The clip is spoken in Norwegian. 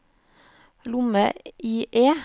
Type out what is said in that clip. lomme-IE